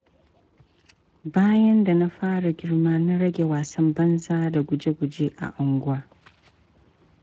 Bayan da na fara girma na rage wasan banza da guje-guje a unguwa.